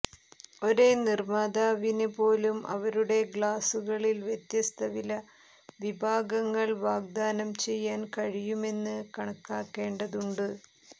ഒരേ നിർമ്മാതാവിന് പോലും അവരുടെ ഗ്ലാസുകളിൽ വ്യത്യസ്ത വില വിഭാഗങ്ങൾ വാഗ്ദാനം ചെയ്യാൻ കഴിയുമെന്ന് കണക്കാക്കേണ്ടതുണ്ട്